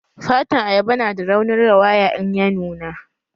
Fatan ayaba nada raunin rawaya in ya nuna